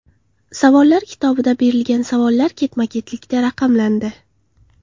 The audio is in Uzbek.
Savollar kitobida berilgan savollar ketma-ketlikda raqamlandi.